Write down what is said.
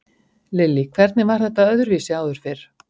Lillý: Hvernig var þetta öðruvísi áður fyrr?